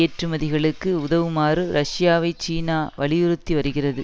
ஏற்றுமதிகளுக்கு உதவுமாறு ரஷ்யாவை சீனா வலியுறுத்தி வருகிறது